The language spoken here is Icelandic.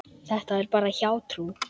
Þetta er bara hjátrú.